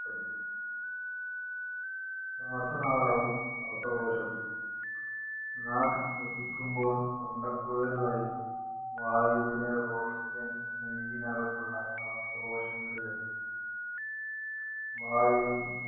ശ്വാസനാളവും, ശ്വാസകോശവും നാം ശ്വസിക്കുമ്പോള്‍ തൊണ്ടക്കുഴല്‍ വഴി വായുവിലെ ഓക്സിജന്‍ നെഞ്ചിനകത്തുള്ള ശ്വാസകോശങ്ങളില്‍ എത്തുന്നു.